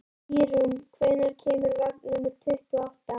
Ýrún, hvenær kemur vagn númer tuttugu og átta?